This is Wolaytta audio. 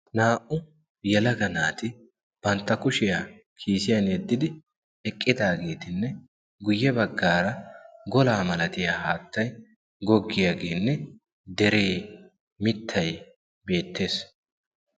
naa77u yalaga naati bantta kushiyaa kiisiyan yeddidi eqqidaageetinne guyye baggaara golaa malatiyaa haattay goggiyaageenne deree mittay beettees.